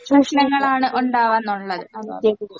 പ്രശ്നങ്ങളാണ് ഒണ്ടാവാന്നൊള്ളത്